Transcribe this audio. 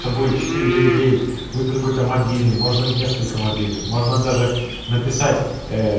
что будет четыре девять девять будет какой то мобильный моожно несколько мобильных можно даже написать э